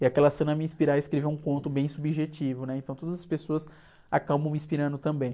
e aquela cena me inspira a escrever um conto bem subjetivo, né? Então todas as pessoas acabam me inspirando também.